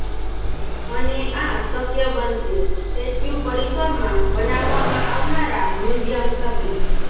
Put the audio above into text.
અને આ શક્ય બનશે સ્ટેચ્યુ પરિસરમાં બનાવવામાં આવનારા મ્યુઝિયમ થકી